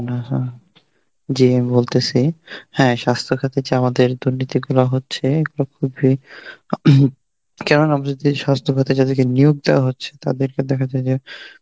না না, জী আমি বলতেসি হ্যাঁ স্বাস্থ্য ক্ষেত্রে আমাদের যে দুর্নীতি গুলা হচ্ছে এগুলো খুবই কেননা আমাদের যদি স্বাস্থ্য খেতে যাদেরকে নিয়োগ দেওয়া হচ্ছে তাদেরকে দেখা যায় যে